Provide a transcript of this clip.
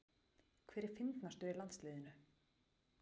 Hver er fyndnastur í landsliðinu?